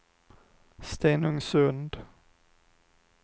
Stenungsund